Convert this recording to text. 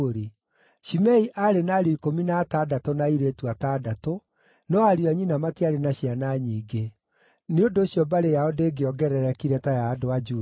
Shimei aarĩ na ariũ ikũmi na atandatũ na airĩtu atandatũ, no ariũ a nyina matiarĩ na ciana nyingĩ; nĩ ũndũ ũcio mbarĩ yao ndĩongererekire ta ya andũ a Juda.